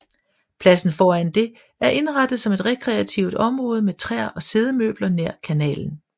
Pladsen foran det er indrettet som et rekreativ område med træer og siddemøbler nær kanalen